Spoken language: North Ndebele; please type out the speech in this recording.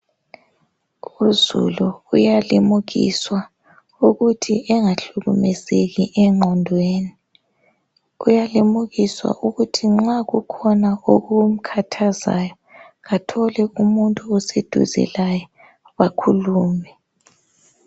Uzulu uyalimukiswa ukuthi engahlukumezeki engqondweni, uyalimukiswa ukuthi nxa kukhona okumkhathazayo athole umuntu oseduze laye bakhulume